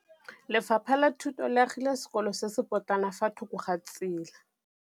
Lefapha la Thuto le agile sekôlô se se pôtlana fa thoko ga tsela.